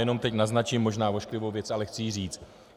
Jenom teď naznačím možná ošklivou věc, ale chci ji říct.